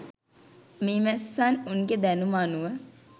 මීමැස්සන් උන්ගේ දැනුම අනුව